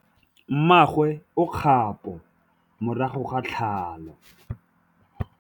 Mmagwe o kgapô morago ga tlhalô.